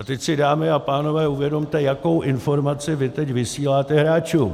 A teď si, dámy a pánové, uvědomte, jakou informaci vy teď vysíláte hráčům.